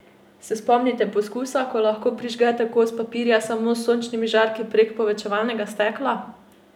Se spomnite poskusa, ko lahko prižgete kos papirja samo s sončnimi žarki prek povečevalnega stekla?